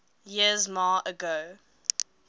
years ma ago